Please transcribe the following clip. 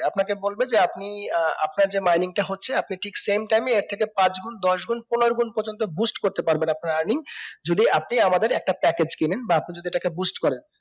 আপনাকে বলবে যে আপনি আহ আপনার যে mining তা হচ্ছে আপনি ঠিক same time এ এর থেকে পাঁচ গুন দশ গুন পনেরো গুন পর্যন্ত boost করতে পারবেন আপনার earning যদি আপনি আমাদের একটা package কিনেন বা আপনি যদি এটাকে boost করেন